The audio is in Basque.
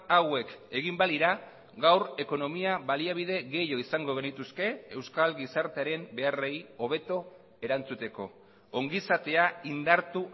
hauek egin balira gaur ekonomia baliabide gehiago izango genituzke euskal gizartearen beharrei hobeto erantzuteko ongizatea indartu